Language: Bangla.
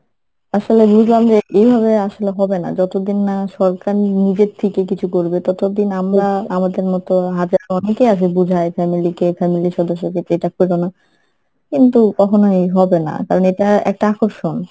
আসলে বুজলাম যে এইভাবে আসলে হবে না যতদিন না সরকার নিজের থেকেই কিছু করবে ততোদিন আমরা আমাদের মতো হাজারো অনেকেই আছে বুজায় family কে family এর সদস্যকে যে এটা কইরো না কিন্তু কখনোই হবে না কারণ এটা একটা আকর্ষণ।